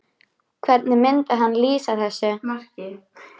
Hvernig myndi hann lýsa þessu marki?